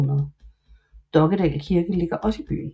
Dokkedal Kirke ligger også i byen